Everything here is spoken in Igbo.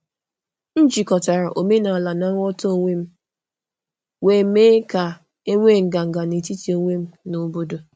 M jikọtara omenala na nghọta onwe m, wee mee ka mee ka e nwee nganga n’etiti onwe m na obodo.